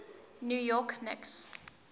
new york knicks